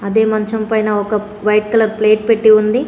The మంచం పైన ఒక వైట్ కలర్ ప్లేట్ పెట్టి ఉంది.